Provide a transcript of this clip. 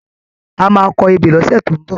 A máa kọ ebè lọ́sẹ̀ tó ń bọ̀.